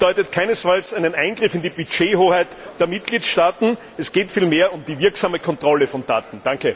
Dies bedeutet keinesfalls einen Eingriff in die Budgethoheit der Mitgliedstaaten, es geht vielmehr um die wirksame Kontrolle von Daten.